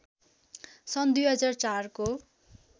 सन् २००४ को